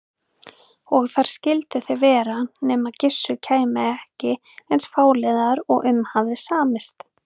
Og þar skyldu þeir vera nema Gissur kæmi ekki eins fáliðaður og um hafði samist.